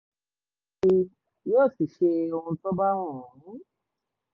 sì yóò sì ṣe ohun tó bá wù ú